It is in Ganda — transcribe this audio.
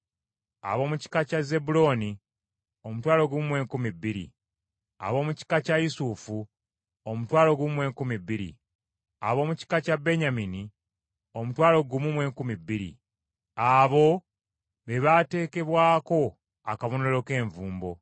ab’omu kika kya Zebbulooni omutwalo gumu mu enkumi bbiri (12,000), ab’omu kika kya Yusufu omutwalo gumu mu enkumi bbiri (12,000), ab’omu kika kya Benyamini omutwalo gumu mu enkumi bbiri (12,000). Abo be baateekebwako akabonero k’envumbo.